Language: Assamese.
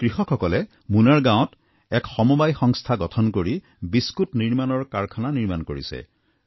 এই কৃষকসকলে মুনাৰ গাঁৱত এক সমবায় ব্যৱস্থা গঠন কৰি বিস্কুট নিৰ্মাণৰ কাৰখানা স্থাপন কৰিছে